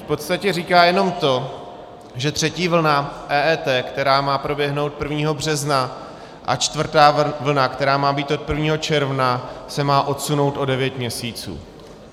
V podstatě říká jenom to, že třetí vlna EET, která má proběhnout 1. března, a čtvrtá vlna, která má být od 1. června, se má odsunout o devět měsíců.